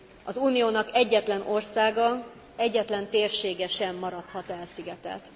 Az Uniónak egyetlen országa, egyetlen térsége sem maradhat elszigetelt.